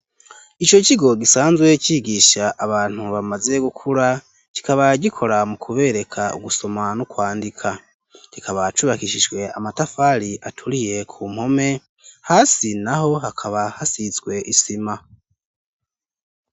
Ico kigo gisanzwe cigisha abantu bamaze gukura kikaba gikora mu kubereka ugusoma n'ukwandika kikaba cubakishijwe amatafari aturiye ku mpome hasi naho hakaba hasizwe isima.